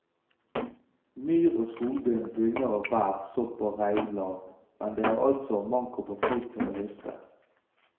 Myr og skogbunn bugner av bær, sopp og reinlav, men det er altså manko på folk til å høste.